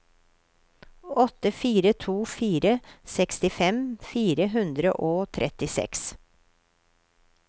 åtte fire to fire sekstifem fire hundre og trettiseks